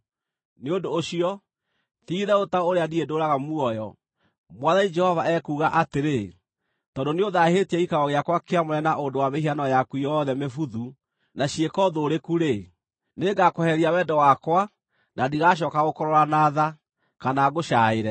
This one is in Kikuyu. Nĩ ũndũ ũcio, ti-itherũ ta ũrĩa niĩ ndũũraga muoyo, Mwathani Jehova ekuuga atĩrĩ, tondũ nĩũthaahĩtie gĩikaro gĩakwa kĩamũre na ũndũ wa mĩhianano yaku yothe mĩbuthu na ciĩko thũũrĩku-rĩ, nĩngakwehereria wendo wakwa, na ndigacooka gũkũrora na tha, kana ngũcaaĩre.